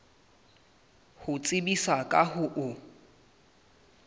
ho tsebisa ka ho o